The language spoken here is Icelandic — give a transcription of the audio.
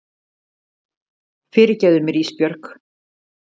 Fyrirgefðu mér Ísbjörg.